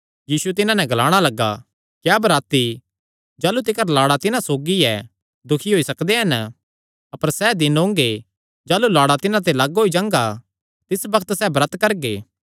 यीशु तिन्हां नैं ग्लाणा लग्गा क्या बराती जाह़लू तिकर लाड़ा तिन्हां सौगी ऐ दुखी होई सकदे हन अपर सैह़ दिन ओंगे जाह़लू लाड़ा तिन्हां ते लग्ग होई जांगा तिस बग्त सैह़ ब्रत करगे